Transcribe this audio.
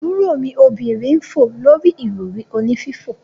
Aburo mi obinrin n fo lori irori oni fifo.